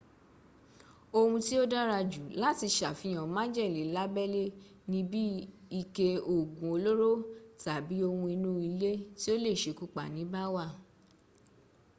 ohun tí ó dára jù láti sàfihàn májèle lábẹ́lẹ́ ni bí ike òògùn olóró tàbí ohun inú ilé tí ó le sekúpani bá wà